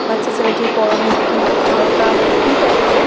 বাচ্চা ছেলেটির পরনে একটি হালকা হুডি টাইপ -এর--